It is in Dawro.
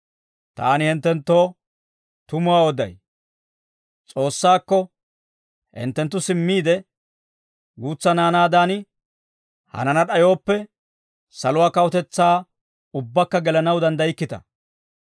«Taani hinttenttoo tumuwaa oday; S'oossaakko hinttenttu simmiide, guutsa naanaadan hanana d'ayooppe, saluwaa kawutetsaa ubbakka gelanaw danddaykkita.